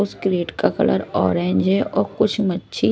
उसे क्रिएट का colour orange है और कुछ मच्छी--